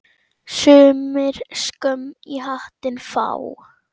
Sumir skömm í hattinn fá.